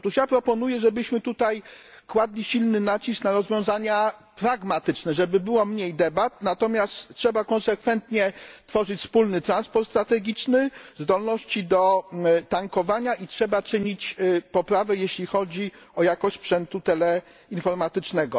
Proponuję, żebyśmy kładli silny nacisk na rozwiązania pragmatyczne, żeby było mniej debat, natomiast trzeba konsekwentnie tworzyć wspólny transport strategiczny, zdolności do tankowania, a także dążyć do poprawy, jeśli chodzi o jakość sprzętu teleinformatycznego.